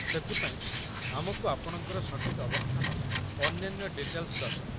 ସେଥି ପାଇଁ, ଆମକୁ ଆପଣଙ୍କର ସଠିକ୍ ଅବସ୍ଥାନ ଓ ଅନ୍ୟାନ୍ୟ ଡିଟେଲ୍‌ସ ଦରକାର।